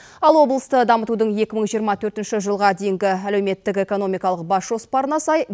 ал облысты дамытудың екі мың жиырма төртінші жылға дейінгі әлеуметтік экономикалық бас жоспарына сай